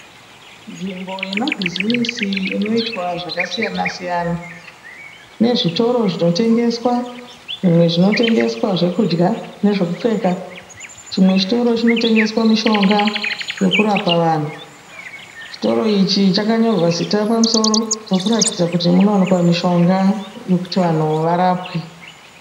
Nzvimbo yemabhizimisi inoitwa zvakasiyana siyana. Mune zvitoro zvinotengeswa. Zvimwe zvinotengeswa zvokudya nezvekupfeka. Chimwe chitoro chinotengeswa mishonga yekurapa vanhu. Chitoro ichi chakanyorwa zita pamusoro rokuratidza kuti munowanikwa mishonga yekuti vanhu varapwe.